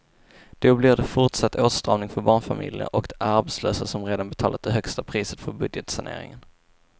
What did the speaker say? Då blir det fortsatt åtstramning för barnfamiljerna och de arbetslösa som redan betalat det högsta priset för budgetsaneringen.